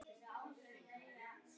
Fengið færri mörk á sig?